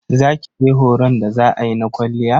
Za kije horon da za ayi na kwalliya?